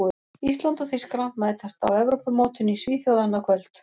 Ísland og Þýskaland mætast á Evrópumótinu í Svíþjóð annað kvöld.